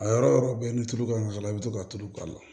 A yɔrɔ yɔrɔ bɛ ni tulu ka can i bɛ to ka tulu k'a la